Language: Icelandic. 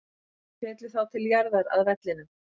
Þeir féllu þá til jarðar, að vellinum.